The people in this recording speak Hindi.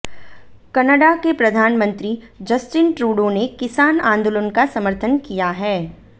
कनाडा के प्रधानमंत्री जस्टिन ट्रूडो ने किसान आंदोलन का समर्थन किया है